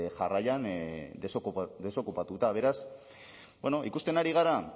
jarraian desokupatuta beraz ikusten ari gara